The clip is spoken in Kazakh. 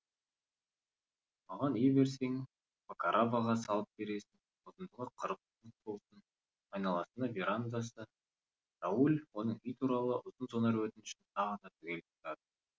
маған үй берсең факараваға салып бересің ұзындығы қырық фут болсын айналасында верандасы рауль оның үй туралы ұзын сонар өтінішін тағы да түгел тыңдады